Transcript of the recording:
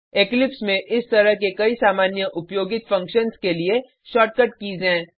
Eclipse में इस तरह के कई सामान्य उपयोगित फंक्शन्स के लिए शॉर्टकट कीज़ हैं